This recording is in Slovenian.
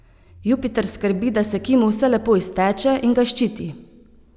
Jupiter skrbi, da se Kimu vse lepo izteče, in ga ščiti.